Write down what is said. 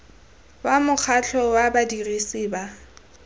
wa mokgatlho wa badirisi ba